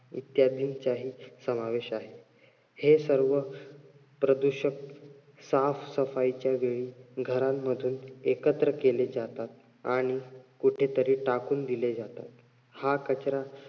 इत्यादींचाही समावेश आहे. हे सर्व प्रदूषक साफसफाईच्या वेळी एकत्र केली जातात आणि कुठेतरी टाकून दिले जातात. हा कचरा